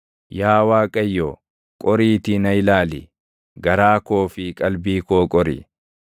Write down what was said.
Yaa Waaqayyo, qoriitii na ilaali; garaa koo fi qalbii koo qori;